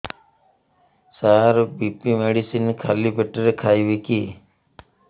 ସାର BP medicine ଖାଲି ପେଟରେ ଖାଇବି କି